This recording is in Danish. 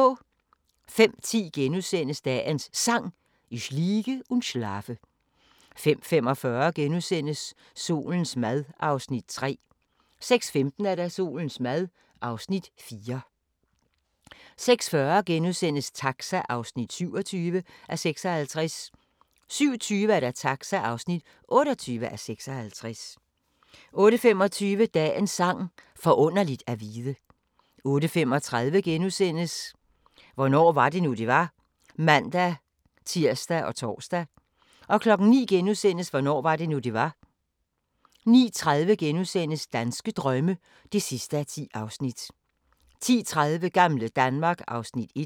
05:10: Dagens Sang: Ich liege und schlafe * 05:45: Solens mad (Afs. 3)* 06:15: Solens mad (Afs. 4) 06:40: Taxa (27:56)* 07:20: Taxa (28:56) 08:25: Dagens Sang: Forunderligt at vide 08:35: Hvornår var det nu, det var? *(man-tir og tor) 09:00: Hvornår var det nu, det var? * 09:30: Danske drømme (10:10)* 10:30: Gamle Danmark (Afs. 1)